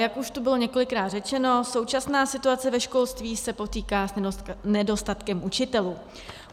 Jak už tu bylo několikrát řečeno, současná situace ve školství se potýká s nedostatkem učitelů.